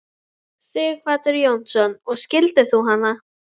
Sighvatur Jónsson: Og skildir þú hana?